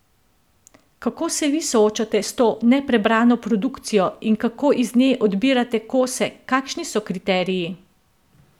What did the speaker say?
Kako se vi soočate s to neprebrano produkcijo in kako iz nje odbirate kose, kakšni so kriteriji?